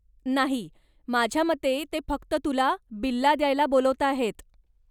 नाही, माझ्या मते ते फक्त तुला बिल्ला द्यायला बोलावताहेत.